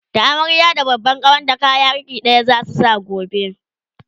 da amarya da babban kawarta kaya iri ɗaya zasu Saka gobe